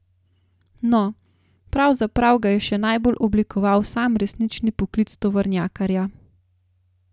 No, pravzaprav ga je še najbolj oblikoval sam resnični poklic tovornjakarja.